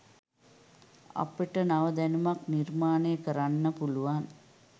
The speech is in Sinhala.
අපිට නව දැනුමක් නිර්මාණය කරන්න පුළුවන්.